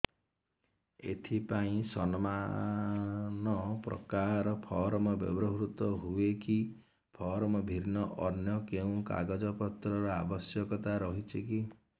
ଏଥିପାଇଁ ସମାନପ୍ରକାର ଫର୍ମ ବ୍ୟବହୃତ ହୂଏକି ଫର୍ମ ଭିନ୍ନ ଅନ୍ୟ କେଉଁ କାଗଜପତ୍ରର ଆବଶ୍ୟକତା ରହିଛିକି